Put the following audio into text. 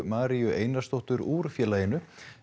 Maríu Einarsdóttur úr félaginu